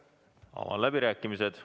Avan läbirääkimised.